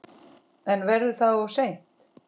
En verður það of seint?